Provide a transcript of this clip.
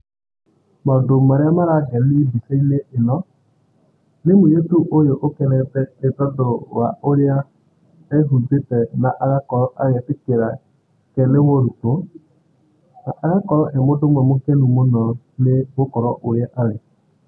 Maũndũ marĩa marangeni mbicainĩ eno, nĩ mũiretu ũyu ũkenete nĩ tondũ wa ũrĩa ehumbĩtĩe na agakorwo agĩtĩkĩra atĩ nĩ mũrutwo, agakorwo e mũndũ ũmwe mũkenu mũno nĩ gũkorwo ũrĩa arĩ.